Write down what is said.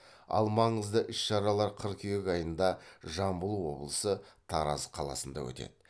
ал маңызды іс шаралар қыркүйек айында жамбыл облысы тараз қаласында өтеді